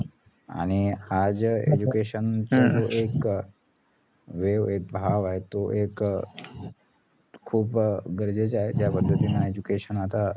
आणि हा जे education चा जो एक अं wave ए भाव आहे तो एक अं खूप अं गरजेचे आहे ज्या पध्दतीनं education आता